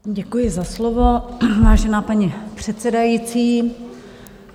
Děkuji za slovo, vážená paní předsedající.